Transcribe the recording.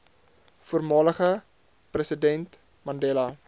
voormalige president mandela